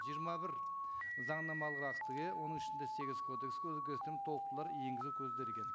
жиырма бір заңнамалық актіге оның ішінде сегіз кодекске өзгерістер мен толықтырулар енгізу көзделген